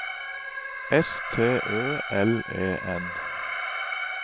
S T Ø L E N